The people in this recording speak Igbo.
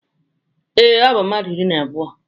Ee, ọ bụ mmadụ iri na abụọ.